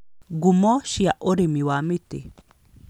Ngumo cia ũrĩmi wa mĩtĩ